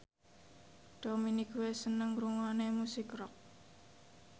Dominic West seneng ngrungokne musik rock